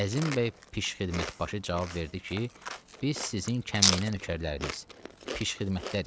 Əzim bəy pişxidmət başı cavab verdi ki, biz sizin kəmiynə nökərləriniz, pişxidmətlərik.